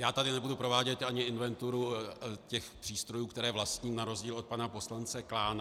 Já tady nebudu provádět ani inventuru těch přístrojů, které vlastním, na rozdíl od pana poslance Klána.